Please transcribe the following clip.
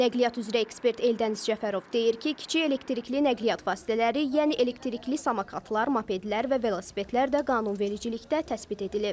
Nəqliyyat üzrə ekspert Eldəniz Cəfərov deyir ki, kiçik elektrikli nəqliyyat vasitələri, yəni elektrikli samokatlar, mopedlər və velosipedlər də qanunvericilikdə təsbit edilib.